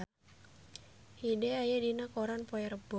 Hyde aya dina koran poe Rebo